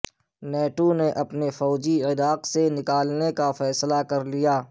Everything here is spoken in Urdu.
نیٹو نے اپنے فوجی عراق سے نکالنے کا فیصلہ کر لیا